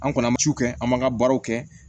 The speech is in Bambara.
An kɔni an bɛ su kɛ an b'an ka baaraw kɛ